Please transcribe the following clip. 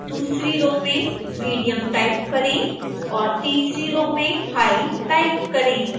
दूसरी रो में medium type करें और तीसरी रो में high टाइप करें